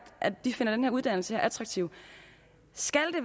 at de finder den her uddannelse attraktiv skal